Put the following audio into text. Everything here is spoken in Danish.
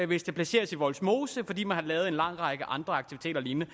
hvis det placeres i vollsmose fordi man har lavet en lang række andre aktiviteter og lignende